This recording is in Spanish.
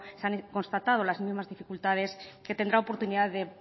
se han constatado las mismas dificultades que tendrá oportunidad de